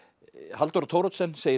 Halldóra Thoroddsen segir